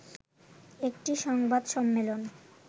একটি সংবাদ সম্মেলন